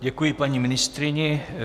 Děkuji paní ministryni.